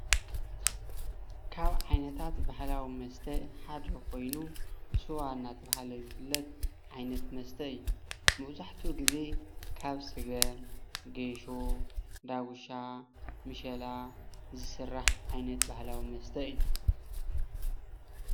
ካብ ዓይነታት ባህላዊ መስተ ሓደ ኮይኑ ስዋ እናተባሃለ ዝፍለጥ ዓይነት መስተ እዩ፡፡ መብዛሕትኡ ግዘ ካብ ስገም ፣ጌሾ፣ ዳጉሻ፣ ምሸላ ዝስራሕ ዓይነት ባህላዊ ዓይነት መስተ እዩ፡፡